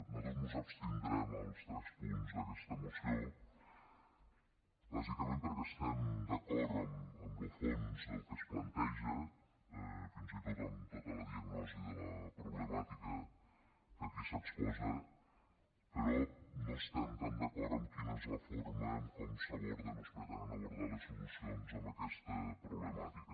nosaltres mos abstindrem als tres punts d’aquesta moció bàsicament perquè estem d’acord amb lo fons del que es planteja fins i tot amb tota la diagnosi de la problemàtica que aquí s’exposa però no estem tan d’acord amb quina és la forma en com s’aborden o es pretenen abordar les solucions a aquesta problemàtica